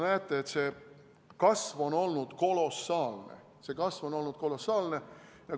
Näete, et kasv on olnud kolossaalne.